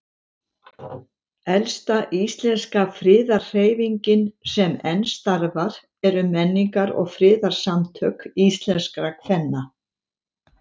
Elsta íslenska friðarhreyfingin sem enn starfar eru Menningar- og friðarsamtök íslenskra kvenna.